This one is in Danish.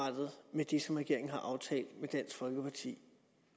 med det som regeringen har aftalt med dansk folkeparti